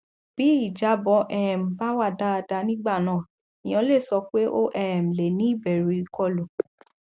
bí ìjábọ um bá wá dáadáa nígbà náà èèyàn lè sọ pé o um lè ní ìbẹrù ìkọlù